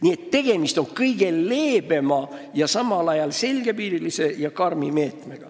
Nii et see pakutav meede on kõige leebem võimalus, mis on samal ajal selgepiiriline ja karm.